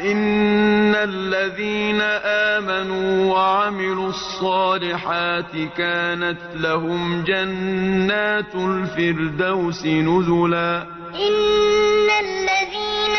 إِنَّ الَّذِينَ آمَنُوا وَعَمِلُوا الصَّالِحَاتِ كَانَتْ لَهُمْ جَنَّاتُ الْفِرْدَوْسِ نُزُلًا إِنَّ الَّذِينَ